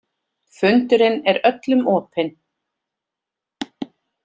Fundurinn er öllum opinn